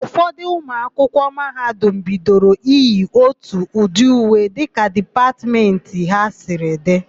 Ụfọdụ ụmụakwụkwọ mahadum bidoro iyi ótù ụdị uwe dịka dipatmentị ha siri dị.